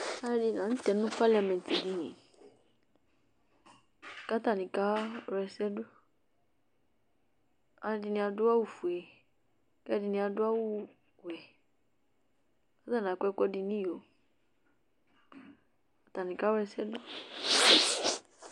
Alʋɛdɩnɩ la nʋ tɛ parlemɛntdini kʋ atanɩ kawla ɛsɛ dʋ alʋɛdɩnɩ adʋ awʋfue kʋ ɛdɩnɩ adʋ awʋwɛ kʋ atanɩ akɔ ɛkʋɛdɩ nʋ iyo, atanɩ kawla ɛsɛ dʋ